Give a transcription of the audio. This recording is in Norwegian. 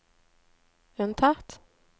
unntatt